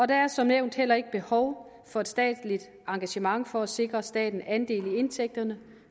der er som nævnt heller ikke behov for et statsligt engagement for at sikre staten andel i indtægterne